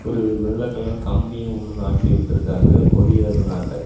ஒரு வெள்ள கலர் கம்பி ஒன்னு நாட்டி விட்ருக்கங்கா கொடியத நாட்ட.